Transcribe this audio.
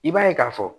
I b'a ye k'a fɔ